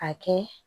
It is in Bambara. A kɛ